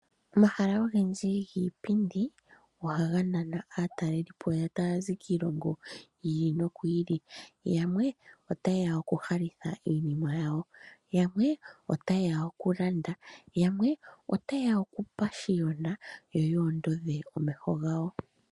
Omahala ogendji giipindi, ohaga nana aatalelipo tayazi kiilongo yi ili noyi ili. Yamwe otayeya okuhalitha iinima yawo, okulanda, noshowo okupashiyona, yo ondodhe omeho gawo.